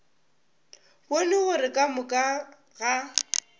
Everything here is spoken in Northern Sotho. bone gore ka moka ga